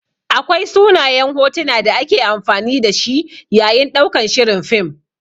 Akwai sunayen hotuna da ake amfani da shi yayin ɗaukan shirin fim.